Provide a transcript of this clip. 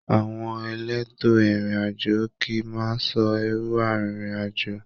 Àwọn èlétò ìrìn àjò kìí máa n sọ ẹru arinrin-ajo